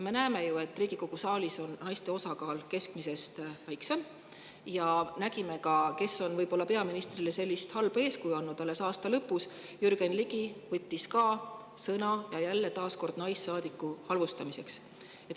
Me näeme, et Riigikogu saalis on naiste osakaal keskmisest väiksem, ja, kes on peaministrile sellist halba eeskuju andnud: alles aasta lõpus võttis Jürgen Ligi sõna ja naissaadiku halvustamiseks.